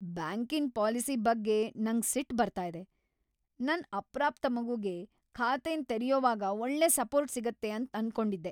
ಬ್ಯಾಂಕಿನ್ ಪಾಲಿಸಿ ಬಗ್ಗೆ ನಂಗ್ ಸಿಟ್ ಬರ್ತಾ ಇದೆ. ನನ್ ಅಪ್ರಾಪ್ತ ಮಗುಗೆ ಖಾತೆನ್ ತೆರ್ಯೊವಾಗ್ ಒಳ್ಳೆ ಸಪೋರ್ಟ್ ಸಿಗುತ್ತೆ ಅಂತ್ ಅನ್ಕೊಂಡಿದ್ದೆ.